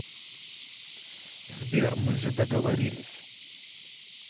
сбер мы же договорились